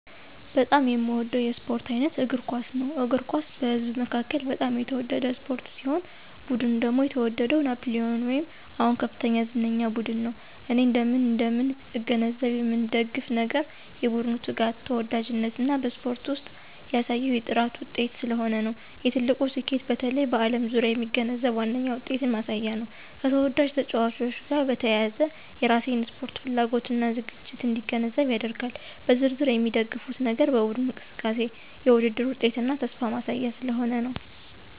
በጣም የሚወደው የስፖርት አይነት እግር ኳስ ነው። እግር ኳስ በህዝብ መካከል በጣም የተወደደ ስፖርት ሲሆን ቡድን ደግሞ የተወደደው ናፕሊየን ወይም አሁን ከፍተኛ ዝነኛ ቡድን ነው። እኔ እንደምን እንደምን እገነዘብ የምንደግፍ ነገር የቡድኑ ትጋት፣ ተወዳጅነት እና በስፖርት ውስጥ ያሳየው የጥራት ውጤት ስለሆነ ነው። የትልቁ ስኬቱ በተለይ በዓለም ዙሪያ የሚገነዘብ ዋነኛ ውጤትን ማሳያ ነው፣ ከተወዳጅ ተጫዋቾች ጋር በተያያዘ የራሴን ስፖርት ፍላጎት እና ዝግጅት እንዲገነዘብ ያደርጋል። በዝርዝር የሚደግፉት ነገር በቡድኑ እንቅስቃሴ፣ የውድድር ውጤትና ተስፋ ማሳያ ስለሆነ ነው።